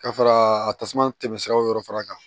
Ka fara a tasuma tɛmɛ siraw yɔrɔ fara kan